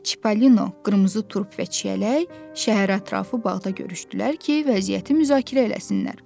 Çipalino, qırmızı turp və çiyələk şəhər ətrafı bağda görüşdülər ki, vəziyyəti müzakirə eləsinlər.